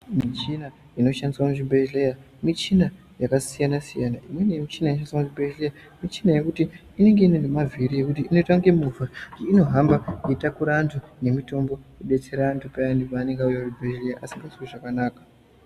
Michina inoshandiswa muzvibhedhlera michina yakasiyana siyana imweni michina inoshandiswe muzvibhedhlera michina yekuti inenge ine nemavhiri ekuti inoita kunge movha unohamba yeitakura antu nemitombo yodetsera antu payani paanenge auya kuchibhedhlera asingazwi zvakanaka.